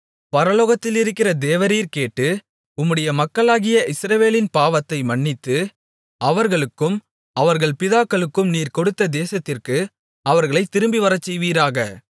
பரலோகத்திலிருக்கிற தேவரீர் கேட்டு உம்முடைய மக்களாகிய இஸ்ரவேலின் பாவத்தை மன்னித்து அவர்களுக்கும் அவர்கள் பிதாக்களுக்கும் நீர் கொடுத்த தேசத்திற்கு அவர்களைத் திரும்பிவரச்செய்வீராக